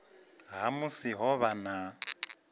ha musi ho vha na